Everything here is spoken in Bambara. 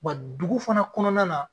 Wa dugu fana kɔnɔna na